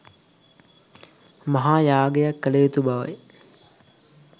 මහා යාගයක් කළයුතු බවයි.